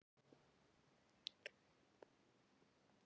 Þau falla í Jökulsá á Fjöllum og hafa ekki valdið skaða svo vitað sé.